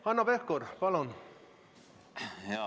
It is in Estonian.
Hanno Pevkur, palun!